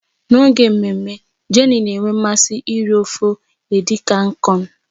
N'oge mmemme, Jenny na-enwe mmasị iri ofe edi kankon.